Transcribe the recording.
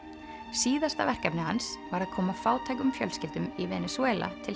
síðasta verkefni hans var að koma fátækum fjölskyldum í Venesúela til